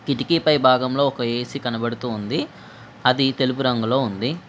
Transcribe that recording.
కిటికీ పై భాగంలో ఒక ఏసీ కనబడుతూ ఉంది అది తెలుపు రంగులో ఉంది.